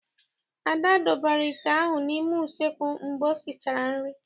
Ada dọbara ite ahụ n'ime useekwu mgbe o sichara nri.